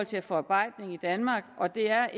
til forarbejdning i danmark og det er